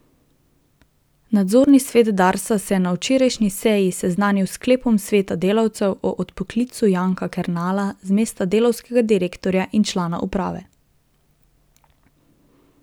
Nadzorni svet Darsa se je na včerajšnji seji seznanil s sklepom sveta delavcev o odpoklicu Janka Kernela z mesta delavskega direktorja in člana uprave.